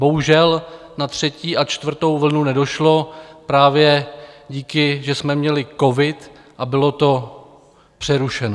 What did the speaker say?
Bohužel na třetí a čtvrtou vlnu nedošlo právě díky, že jsme měli covid a bylo to přerušeno.